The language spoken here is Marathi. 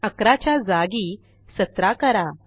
11 च्या जागी 17 करा